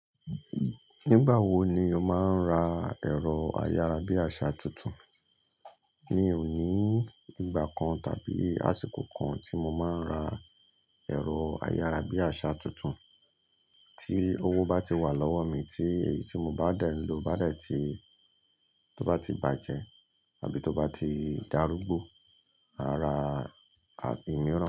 Nígbà wo ni o máa ń ra ẹ̀rọ ayárabíàṣá tuntun? Mi ò ní ìgbà kan tàbí àsìkò kan tí mo máa ń ra ẹ̀rọ ayárabíàṣá tuntun. Tí owó bá ti wà lọ́wọ́ mi tí èyí tí mo bá dẹ̀ ń lò bá dẹ̀ tí, tó bá ti bàjẹ́ àbí tó bá ti dárúgbó, màá ra ìmiran.